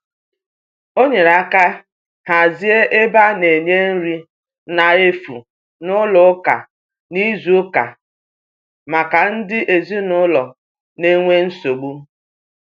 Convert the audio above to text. o nyere aka hazie ebe ana nye nri na efụ n'ụlọ ụka na izu uka maka ndi ezinulo n'enwe nsogbu